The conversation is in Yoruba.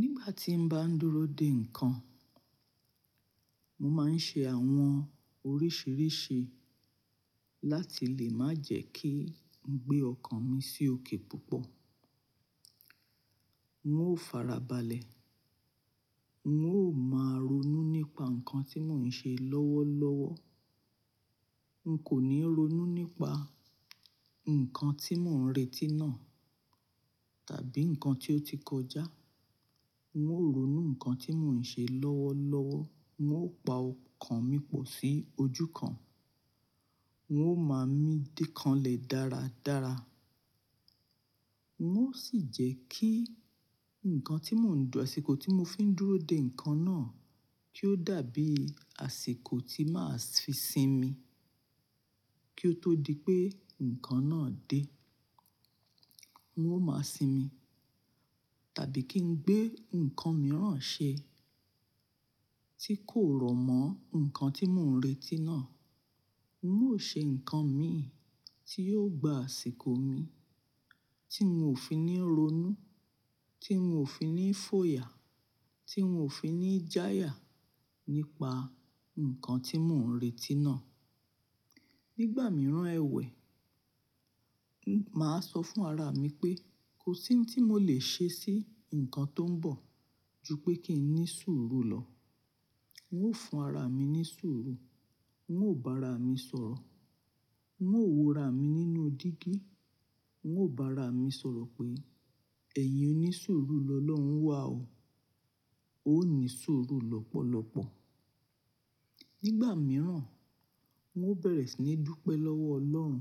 Nígbà tí n bá ń dúró de ǹkan, mo máa ń ṣe àwọn oríṣìíríṣìí láti lè má jẹ́ kí n gbé ọkàn mi sí òkè púpọ̀. N ó farabalẹ̀, n ó máa ronú nípa nǹkan tí mò ń ṣe lọ́wọ́lọ́wọ́. N kò ní ronú nípa ǹkan tí mò ń retí náà tàbí ǹkan tí ó ti kọjá. N ó ronú ǹkan tí mò ń ṣe lọ́wọ́lọ́wọ́, n ó pa ọkàn mi pọ̀ sí ojú kan, n ó máa mí díkànlẹ̀ dáradára. N ó sì jẹ́ kí ǹkan tí mò ń dù-- àsìkò tí mo fi ń dúró de ǹkan náà kí ó dàbí àsìkò tí màá fi sinmi kí ó tó di pé ǹkan náà dé. N ó máa sinmi tàbí kí n gbé ǹkan mìíràn ṣe tí kò rọ̀mọ́ ǹkan tí mò ń retí náà. N ó ṣe ǹkan mi tí yóò gba àsìkò mi tí n ò fi ní ronú, tí n ò fi ní fòyà, tí n ò fi ní jáya nípa ǹkan tí mò ń retí náà. Nígbà mìíràn ẹwẹ̀, máa sọ fún ara mi pé kò sí ohun tí mo lè ṣe sí ǹkan tó ń bọ̀ ju pé kí n ní sùúrù lọ. N ó fún ara mi ní sùúrù, n ó bá ara mi sọ̀rọ̀, n ó wòra mi nínú dígí, n ó bá ara mi sọ̀rọ̀ pé ẹ̀yin onísùúrù lọlọ́hun wà o, o ní sùúrù lọ́pọ̀lọ́pọ̀. Nígbà mìíràn, n ó bẹ̀rẹ̀ sí ní dúpẹ́ lọ́wọ́ Ọlọ́run